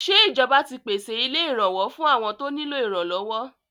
Ṣé ìjọba ti pèsè ilé ìrànwọ́ fún àwọn tó nílò ìrànlọ́wọ́?